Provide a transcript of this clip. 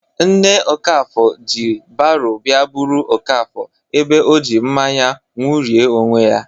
Nne Okafor ji baro bịa buru Okafor ebe ọjị mmanya ṅụrie onwe ya.